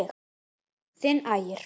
Þinn Ægir.